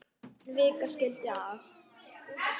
En vika skildi að.